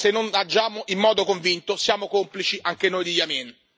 Se non agiamo in modo convinto, siamo complici anche noi di Yameen.